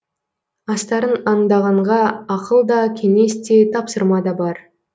астарын аңдағанға ақыл да кеңес те тапсырма да бар